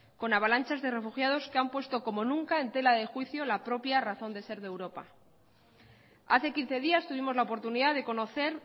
con avalanchas de refugiados que han puesto como nunca en tela de juicio la propia razón de ser de europa hace quince días tuvimos la oportunidad de conocer